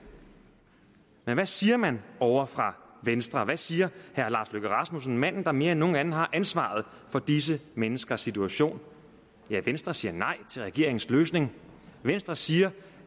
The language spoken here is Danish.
men hvad siger man ovre fra venstre hvad siger herre lars løkke rasmussen manden der mere end nogen anden har ansvaret for disse menneskers situation ja venstre siger nej til regeringens løsning venstre siger